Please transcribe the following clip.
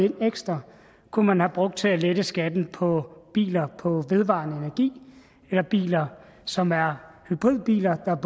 ind ekstra kunne man have brugt til at lette skatten på biler på vedvarende energi eller biler som er hybridbiler der er